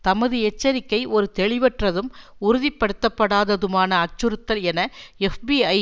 தமது எச்சரிக்கை ஒரு தெளிவற்றதும் உறுதிப்படுத்தப்படாததுமான அச்சுறுத்தல் என எப்பீஐ